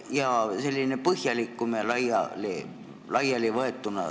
Ootan sellist põhjalikumat ja laialivõetud pilti.